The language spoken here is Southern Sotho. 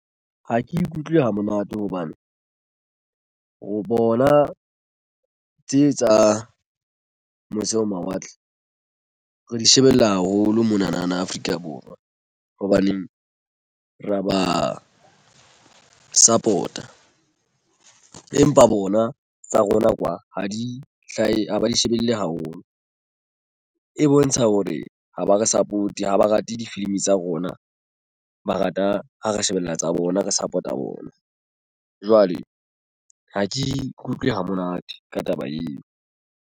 Ha ke ikutlwe ha monate hobane ho bona tse tswang mose ho mawatle re di shebella haholo mona na Afrika Borwa. Hobaneng ra ba support-a empa bona tsa rona kwa ha di hlahe ha ha di shebelle haholo. E bontsha hore ha ba re support ha ba rate difilimi tsa rona ba rata ha re shebella tsa bona re support-a bona. Jwale ha ke ikutlwe ha monate ka taba eo.